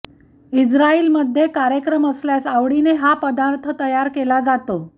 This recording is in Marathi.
इज्राईलमध्ये कार्यक्रम असल्यास आवडीने हा पदार्थ तयार केला जातो